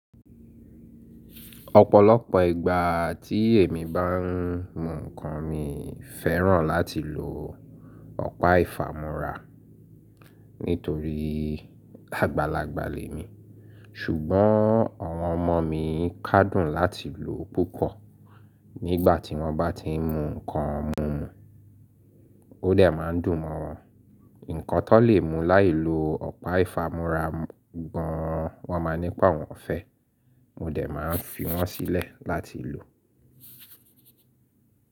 Ọ̀pọ̀lọpọ̀ ìgbà tí èmi bá ń mu ǹkan, mi féràn láti lo ọ̀pá ìfámúra nítorí àgbàlagbà lè mi. Ṣùgbọ́n àwọn ọmọ mi kádùn láti lo púpọ̀ nígbà tí wọ́n bá ti ń mu ǹkan mumu. Ó dẹ̀ má ń dùn mọ́ wọn. Ǹkan tó lè mú láì lo ọ̀pá ìfámúra gan wọ́n máa nípàá awọn fẹ́. Mo dẹ̀ má ń fi wọ́n sílẹ̀ láti lò.